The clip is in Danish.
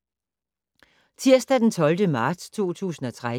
Tirsdag d. 12. marts 2013